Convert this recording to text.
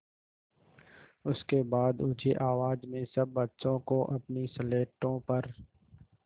उसके बाद ऊँची आवाज़ में सब बच्चों को अपनी स्लेटों पर